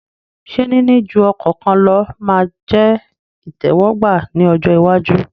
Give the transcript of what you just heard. Ṣé níní ju ọkọ kan lọ ma jẹ́ ìtẹ́wọ́gbà ní ọjọ́ iwájú?